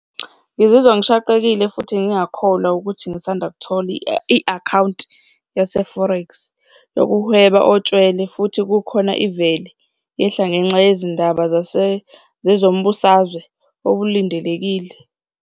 Ngizizwa ngishaqekile futhi ngingakholwa ukuthi ngisandakuthola i-akhawunti yase-forex yokuhweba otshwele futhi kukhona ivele yehla ngenxa yezindaba zezombusazwe okulindelekile.